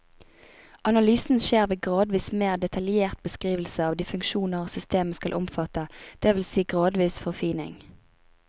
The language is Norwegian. Analysen skjer ved gradvis mer detaljert beskrivelse av de funksjoner systemet skal omfatte, det vil si gradvis forfining.